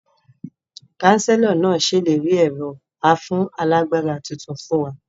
Kánsílọ̀ náà sèlérí ẹ̀rọ afúnálagbára tuntun fún wa